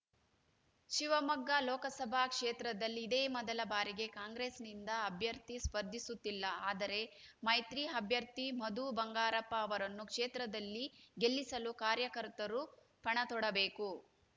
ಶಿವಮೊಗ್ಗ ಲೋಕಸಭಾ ಕ್ಷೇತ್ರದಲ್ಲಿ ಇದೇ ಮೊದಲ ಬಾರಿಗೆ ಕಾಂಗ್ರೆಸ್‌ನಿಂದ ಅಭ್ಯರ್ಥಿ ಸ್ಪರ್ಧಿಸುತ್ತಿಲ್ಲ ಆದರೆ ಮೈತ್ರಿ ಅಭ್ಯರ್ಥಿ ಮಧು ಬಂಗಾರಪ್ಪ ಅವರನ್ನು ಕ್ಷೇತ್ರದಲ್ಲಿ ಗೆಲ್ಲಿಸಲು ಕಾರ್ಯಕರ್ತರು ಪಣತೊಡಬೇಕು